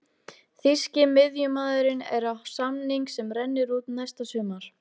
Þýski miðjumaðurinn er á samning sem rennur út næsta sumar.